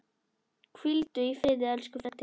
Hvíldu í friði, elsku Freddi.